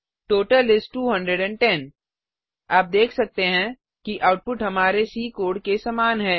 total इस 210 आप देख सकते हैं कि आउटपुट हमारे सी कोड के समान है